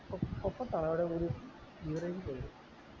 അ അപ്പൊ താഴെ ഒരു beverage പോയോ